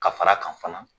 Ka fara a kan fana